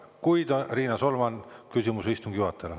Kuid, Riina Solman, küsimus istungi juhatajale.